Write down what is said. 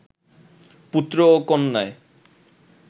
পুত্র ও কন্যায়